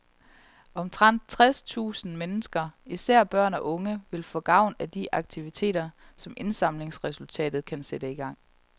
Omtrent tres tusind mennesker, især børn og unge, vil få gavn af de aktiviteter, som indsamlingsresultatet kan sætte i gang.